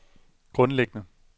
grundlæggende